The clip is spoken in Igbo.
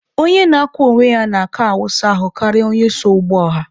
Onye na-akwọ onwe ya n'aka awụsa ahụ karịa onye so ụgbọ ọha.